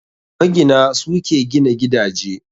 Magina, su ke gina gidaje.